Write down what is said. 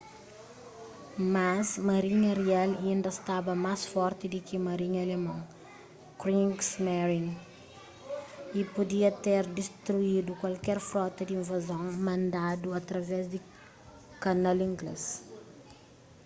mas marinha rial inda staba más forti di ki marinha alemon kriegsmarine” y pudia ter distruidu kualker frota di invazon mandadu através di kanal inglês